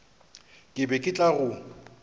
ke be ke tla go